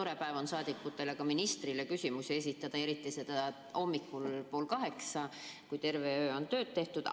Tore päev on saadikutele ka ministrile küsimusi esitada ja eriti hommikul pool kaheksa, kui terve öö on tööd tehtud.